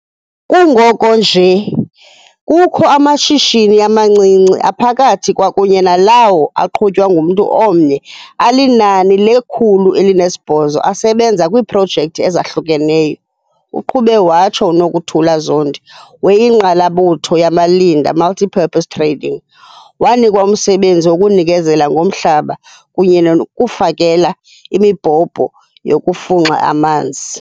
"Kungoku nje kukho amashishini amancinci, aphakathi kwakunye nalawo aqhutywa ngumntu omnye alinani le-108 asebenza kwiiprojekthi ezahlukeneyo," uqhube watsho. UNokuthula Zondi we-Ingqalabutho Yamalinda Multipurpose Trading wanikwa umsebenzi wokunikezela ngomhlaba kunye nokufakela imibhobho yokufunxa amanzi.